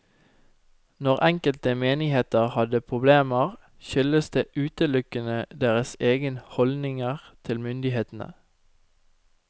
Når enkelte menigheter hadde problemer, skyldtes det utelukkende deres egne holdninger til myndighetene.